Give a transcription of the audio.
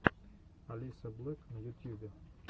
алисаблек на ютьюбе